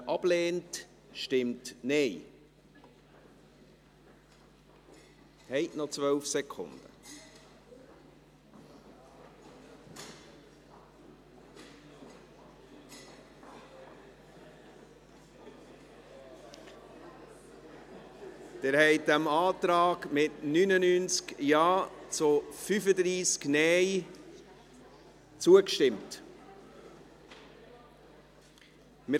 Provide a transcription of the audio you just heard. Der Saldo der Erfolgsrechnung (Gesamtstaat) wird um 3 Mio. Franken (Besserstellung Saldo Erfolgsrechnung von 217 auf 220 Mio. Franken) verbessert, indem auf die Schaffung der neuen, nicht refinanzierten Stellen im Umfang von 24,7 VZÄ verzichtet wird.